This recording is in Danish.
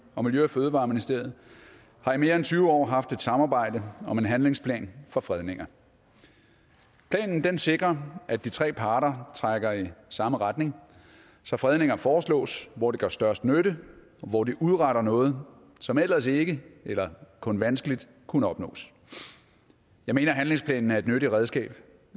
og miljø og fødevareministeriet har i mere end tyve år haft et samarbejde om en handlingsplan for fredninger planen sikrer at de tre parter trækker i samme retning så fredninger foreslås hvor de gør størst nytte og hvor de udretter noget som ellers ikke eller kun vanskeligt kunne opnås jeg mener handlingsplanen er et nyttigt redskab